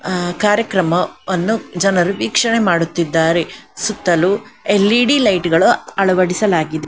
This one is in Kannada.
ಆಹ್ಹ್ ಕಾರ್ಯಕ್ರಮವನ್ನು ಜನರು ವೀಕ್ಷಣೆ ಮಾಡುತ್ತಿದ್ದಾರೆ ಸುತ್ತಲೂ ಲ್ ಇಡಿ ಲೈಟ್ ಗಳನ್ನೂ ಅಳವಡಿಸಲಾಗಿದೆ.